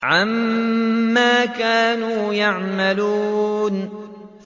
عَمَّا كَانُوا يَعْمَلُونَ